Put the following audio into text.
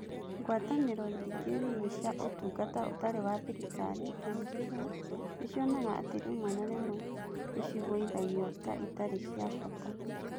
Ngwatanĩro ingĩ nini cia Ũtungata Ũtarĩ wa Thirikari (NGO) nĩ cionaga atĩ rĩmwe na rĩmwe nĩ ciguithagio ta itarĩ cia bata.